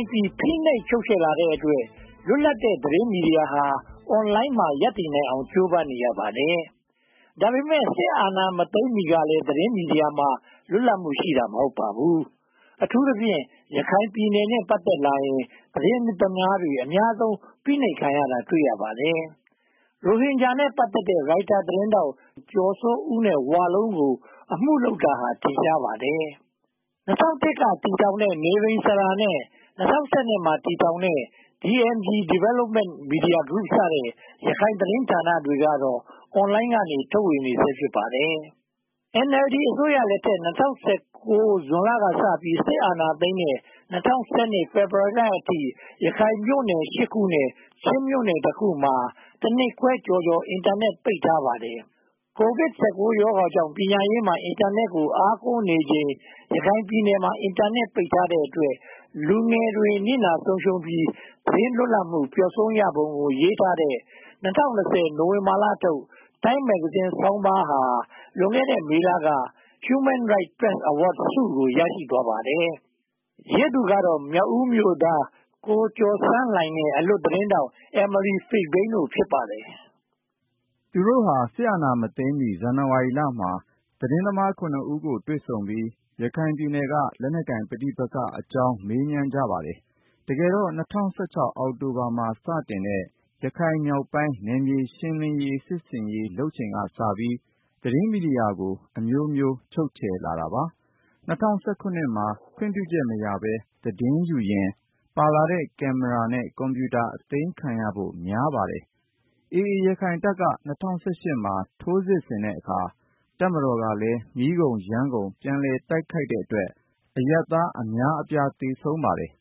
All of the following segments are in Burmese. မ်းပြီး ဖိနှိပ်ချုပ်ချယ်လာတဲ့အတွက် လွတ်လပ်တဲ့ သတင်းမီဒီယာဟာ အွန်လိုင်းမှာ ရပ်တည်နိုင်အောင် ကြိုးပမ်းနေရပါတယ်။ ဒါပေမဲ့ စစ်အာဏာမသိမ်းမီကလည်း သတင်းမီဒီမှာ လွတ်လပ်မှုရှိတာ မဟုတ်ပါဘူး။ အထူးသဖြင့် ရခိုင်ပြည်နုယ်နဲ့ ပတ်သက်လာရင် သတင်းသမားတွေ အများဆုံးဖိနှိပ်ခံရတာ တွေ့ရပါတယ်။ ရိုဟင်ဂျာနဲ့ ပတ်သက်တဲ့ ရိုက်တာသတင်းထောက် ကျော်စိုးဦးနဲ့ ဝလုံးတို့ကို အမှုထုပ်တာဟာလည်း ထင်ရှားပါတယ်။ ၂၀၀၁ ကတည်းက တည်ထောင်ခဲ့တဲ့ နိရဉ္စရာနဲ့ ၂၀၁၂ မှာ တည်ထောင်ခဲ့တဲ့ DMG – Development Media Group စတဲ့ ရခိုင်သတင်းဌာနတွေကတော့ အွန်လိုင်းက ထုတ်ဝေနေဆဲ ဖြစ်ပါတယ်။ NLD အစိုးရလက်ထက် ၂၀၁၉ ဇွန်လကစပြီး စစ်အာဏာသိမ်းတဲ့ ၂၀၁၂ ဖေဖေါ်ဝါရီလအထိ ရခိုင်မြို့နယ် (၈) ခုနဲ့ ချင်းမြို့နယ် (၁) ခုမှာ တနှစ်ခွဲကျော်ကျော် Internet ကို ပိတ်ထားခဲ့ပါတယ်။ ကိုဗစ် (၁၉) ရောဂါကြောင့် ပညာရေးမှာ Internet ကို အားကိုးနေချိန် ရခိုင်ပြည်နယ်မှာ Internet ပိတ်ထားတဲ့အတွက် လူငယ်တွေ နစ်နာဆုံးရှုံးရပြီး၊ သတင်းလွတ်လပ်မှု ပျောက်ဆုံးရပုံကို ရေးထားတဲ့ ၂၀၂၀ နိုဝင်ဘာလထုတ် TIME မဂ္ဂဇင်းဆောင်းပါးဟာ လွန်ခဲ့တဲ့ မေလက Human Rights Press Awards ဆု ရရှိသွားခဲ့ပါတယ်။ ရေးသူကတော့ မြောက်ဦးမြို့သား ကိုကျော်ဆန်းလှိုင်နဲ့ အလွတ်သတင်းထောက် Emily Fishbein ဖြစ်ပါတယ်။ သူတို့ဟာ စစ်အာဏာမသိမ်းမီ ဇန်နဝါရီလမှာ သတင်းသမား (၇) ဦးကို တွေ့ဆုံပြီး ရခိုင်ပြည်နယ်က လက်နက်ကိုင်ပဋိပက္ခတွေအကြောင်း မေးမြန်းကြပါတယ်။ တကယ်တော့ ၂၀၁၆ အောက်တိုဘာလမှာ စတင်တဲ့ ရခိုင်မြောက်ပိုင်း နယ်မြေရှင်းလင်းမှု စစ်ဆင်ရေးလုပ်နေချိန်ကစပြီး သတင်းမီဒီယာတွေကို အမျိုးမျိုးချုပ်ချယ်လာပါတယ်။ AA ရခိုင်တပ်က ၂၀၁၈ မှာ ထိုးစစ်ဆင်တဲ့အခါ တပ်မတော်ကလည်း မီးကုန်ယမ်းကုန် ပြန်လည်တိုက်ခိုက်တဲ့အတွက် အရပ်သားအများအပြား သေဆုံးခဲ့ရပါတယ်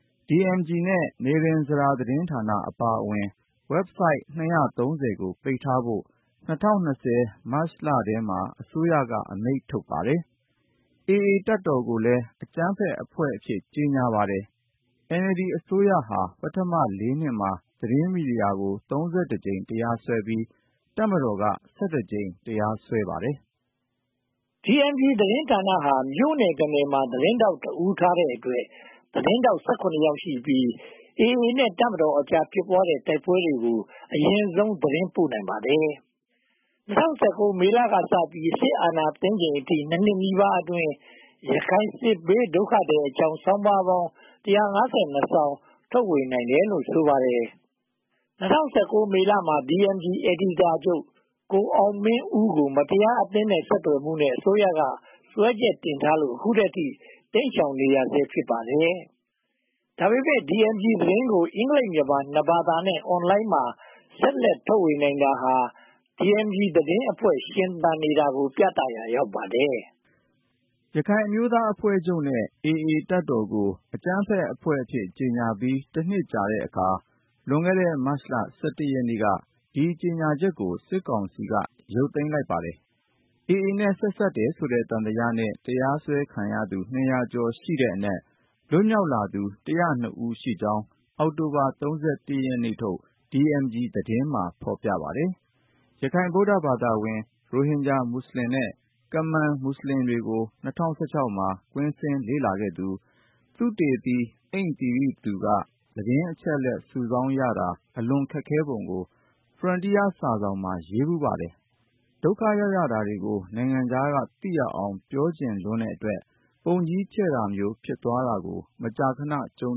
။ DMG နဲ့ နိရဉ္စရာသတင်းဌာနအပါအဝင် Website (၂၃၀) ကို ပိတ်ထားဖို့ ၂၀၂၀ မတ်လ (၂၃) ရက်နေ့မှာ အစိုးရက အမိန့်ထုတ်ခဲ့ပါတယ်။ AA တပ်တော်ကိုလည်း အကြမ်းဖက်အဖွဲ့အဖြစ် ကြေညာပါတယ်။ NLD အစိုးရဟာ ပထမ (၄) နှစ်မှာ သတင်းမီဒီယာကို (၃၁) ကြိမ် တရားစွဲပြီး တပ်မတော်က (၁၁) ကြိမ် တရားစွဲပါတယ်။ DMG သတင်းဌာနဟာ မြို့နယ် (၁) နယ်မှာ သတင်းထောက်တဦးထားတဲ့အတွက် သတင်းထောက် (၁၇) ယောက်ရှိပြီး AA နဲ့ တပ်မတော်ကြား ဖြစ်ပွားခဲ့တဲ့ တိုက်ပွဲတွေကို အရင်ဆုံးသတင်းပို့နိုင်ပါတယ်။ ၂၀၁၉ မေလကစပြီး စစ်အာဏာသိမ်းချိန်အထိ (၂) နှစ်နီးပါးအတွင်း ရခိုင်စစ်ဘေးဒုက္ခသည်တွေအကြောင်း ဆောင်းပါးပေါင်း (၁၅၂) စောင် ထုတ်ဝေနိုင်ခဲ့တယ်လို့ ဆိုပါတယ်။ ၂၀၁၉ မေလမှာ DMG အယ်ဒီတာချုပ် ကိုအောင်မင်းဦးကို မတရားအသင်း ဆက်သွယ်မှုနဲ့ အစိုးရက စွဲချက်တင်ထားလို့ အခုထိ တိမ်ရှောင်နေရဆဲ ဖြစ်ပါတယ်။ ဒါပေမဲ့ DMG သတင်းကို အင်္ဂလိပ်-မြန်မာ နှစ်ဘာသာနဲ့ အွန်လိုင်းကနေ ဆက်လက်ထုတ်ဝေနိုင်တာဟာ DMG သတင်းအဖွဲ့ ရှင်သန်နေတာကို ပြသရာရောက်ပါတယ်။ ရခိုင်အမျိုးသားအဖွဲ့ချုပ်နဲ့ AA တပ်တော်တို့ကို အကြမ်းဖက်အဖွဲ့အဖြစ် ကြေညာပြီး တနှစ်ကြာတဲ့အခါ လွန်ခဲ့တဲ့ မတ်လ (၁၁) ရက်နေ့က ဒီကြေညာချက်ကို စစ်ကောင်စီက ရုတ်သိမ်းလိုက်ပါတယ်။ AA နဲ့ ဆက်စပ်တယ်ဆိုတဲ့ သံသယနဲ့ တရားစွဲခံထားရသူ (၂၀၀) ကျော်ရှိတဲ့အနက် လွတ်မြောက်လာသူ (၁၀၂) ဦးရှိကြောင်း အောက်တိုဘာ (၃၁) ရက်နေ့ထုတ် DMG သတင်းမှာ ဖော်ပြထားပါတယ်။ ရခိုင်ဗုဒ္ဓဘာသာဝင်၊ ရိုဟင်ဂျာမွတ်စလင် နဲ့ ကမန်မွတ်စလင်တွေကို ၂၀၁၆ မှာ ကွင်းဆင်းလေ့လာခဲ့သူ သုတေသီ ‘အိမ့်သီရိသူ’ က သတင်းအချက်အလက် စုဆောင်းရတာ အလွန်ခက်ခဲပုံကို Frontier စာစောင်မှာ ရေးဖူးပါတယ်။ ဒုက္ခရောက်ရတာတွေကို နိုင်ငံခြားကသိရအောင် ပြောချင်လွန်းတဲ့အတွက် ပုံကြီးချဲ့တာမျိုးတွေ ဖြစ်သွားတာကို မကြာခဏ ကြုံ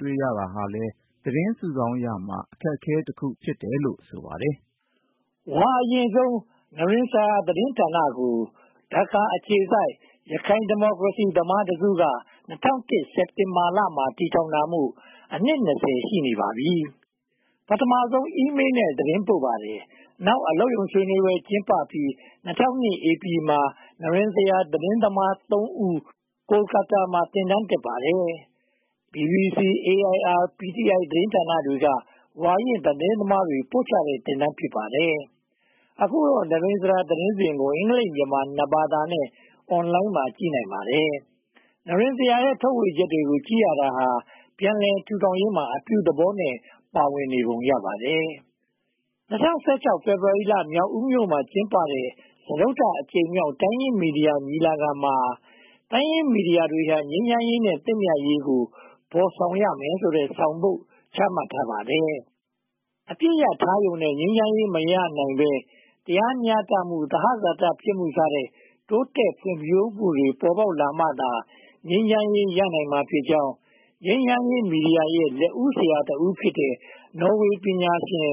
တွေ့ရတာဟာလည်း သတင်းစုဆောင်းရာမှာ အခက်အခဲတခု ဖြစ်တယ်လို့ ဆိုပါတယ်။ ဝါအရင့်ဆုံး နိရဉ္စရာသတင်းဌာနကို ဒါကာအခြေစိုက် ရခိုင်ဒီမိုကရေစီသမားတစုက ၂၀၀၁ စက်တင်ဘာမှာ တည်ထောင်ထားတာမို့ အနှစ် (၂၀) ရှိနေပါပြီ။ ပထမဦးဆုံး email နဲ့ သတင်းပို့ပါတယ်။ နောက် အလုပ်ရုံဆွေးနွေးပွဲ ကျင်းပပြီး၊ ၂၀၀၂ ဧပြီမှာ နိရဉ္စရာ သတင်းသမား (၃) ဦးကို ကာတားမှာ သင်တန်းတက်ပါတယ်။ BBC, AIR နဲ့ PTI သတင်းဌာနတွေက ဝါရင့်သတင်းသမားတွေ ပို့ချတဲ့ သင်တန်းဖြစ်ပါတယ်။ အခုတော့ နိရဉ္စရာသတင်းစဉ်ကို အင်္ဂလိပ်-မြန်မာ နှစ်ဘာသာနဲ့ Online မှာ ကြည့်နိုင်ပါတယ်။ နိရဉ္စရာရဲ့ ထုတ်ဝေချက်တွေကိုကြည့်ရင် ပြန်လည်ထူထောင်ရေးမှာ အပြုသဘောနဲ့ ပါဝင်နေပုံရပါတယ်။ ၂၀၁၆ ဖေဖေါ်ဝါရီလ မြောက်ဦးမြို့မှာ ကျင်းပတဲ့ စတုတ္ထအကြိမ်မြောက် တိုင်းရင်းသားမီဒီယာ ညီလာခံမှာ တိုင်းရင်းသားမီဒီယာတွေဟာ ငြိမ်းချမ်းရေးနဲ့ သင့်မြတ်ရေးတို့ကို ဖော်ဆောင်ရမယ်ဆိုတဲ့ ဆောင်ပုဒ်ချမှတ်ထားပါတယ်။ အပစ်ရပ်ထားရုံနဲ့ ငြိမ်းချမ်းရေး မရနိုင်ဘဲ၊ တရားမျှတမှု၊ သဟဇာတ ဖြစ်မှုစတဲ့ တိုးတက်ဖွံ့ဖြိုးမှုတွေ ဖြစ်ပေါ်လာမှသာ ငြိမ်းချမ်းရေး ရနိုင်မှာဖြစ်ကြောင်း ငြိမ်းချမ်းရေးမီဒီယာ လက်ဦးဆရာတဦးဖြစ်တဲ့ နော်ဝေပညာရှင်